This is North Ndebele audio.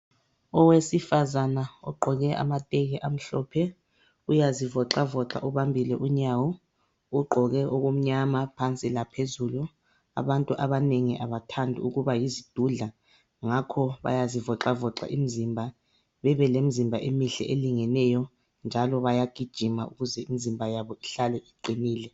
Owesifazana ogqoke amateki amhlophe uyazivoxa voxa ubambile unyawo, ugqoke okumnyama phansi laphezulu, abantu abanengi abathandi ukuba yizidudla ngakho bayazivoxa voxa imizimba, bebe lemizimba emihle elingeneyo njalo bayagijima ukuze imizimba yabo ihlale iqinile.